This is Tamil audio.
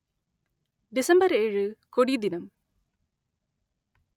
டிசம்பர் ஏழு கொடி தினம்